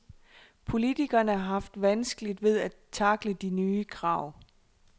Politikerne har haft vanskeligt ved at takle de nye krav.